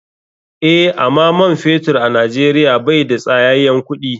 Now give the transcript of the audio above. Eh, ama man fetur a nijeria bai da tsayayen kuɗi.